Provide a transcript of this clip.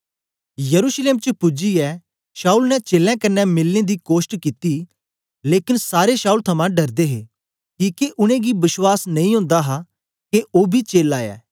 यरूशलेम च पूजियै शाऊल ने चेलें कन्ने मिलने दा कोष्ट कित्ती लेकन सारे शाऊल थमां डरदे हे किके उनेंगी बश्वास नेई ओंदा हा के ओ बी चेला ऐ